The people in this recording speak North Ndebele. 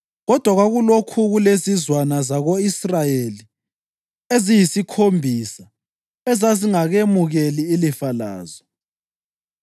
kodwa kwakulokhu kulezizwana zako-Israyeli eziyisikhombisa ezazingakemukeli ilifa lazo.